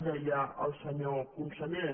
deia el senyor conseller